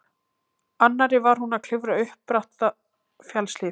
annarri var hún að klifra upp bratta fjallshlíð.